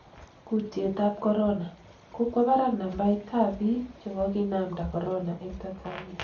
Kutyet ab corona:kokwo barak nambait tab bik chekokinamda corona eng Tanzania